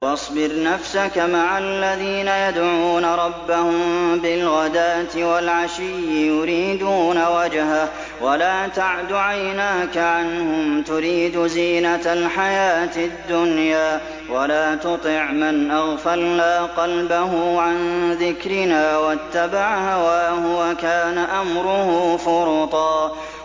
وَاصْبِرْ نَفْسَكَ مَعَ الَّذِينَ يَدْعُونَ رَبَّهُم بِالْغَدَاةِ وَالْعَشِيِّ يُرِيدُونَ وَجْهَهُ ۖ وَلَا تَعْدُ عَيْنَاكَ عَنْهُمْ تُرِيدُ زِينَةَ الْحَيَاةِ الدُّنْيَا ۖ وَلَا تُطِعْ مَنْ أَغْفَلْنَا قَلْبَهُ عَن ذِكْرِنَا وَاتَّبَعَ هَوَاهُ وَكَانَ أَمْرُهُ فُرُطًا